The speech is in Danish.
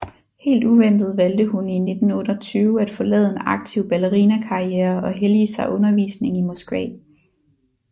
Helt uventet valgte hun i 1928 at forlade en aktiv ballerinakarriere og hellige sig undervisning i Moskva